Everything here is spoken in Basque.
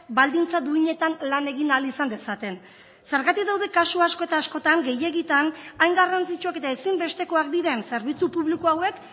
baldintza duinetan lan egin ahal izan dezaten zergatik daude kasu asko eta askotan gehiegitan hain garrantzitsuak eta ezinbestekoak diren zerbitzu publiko hauek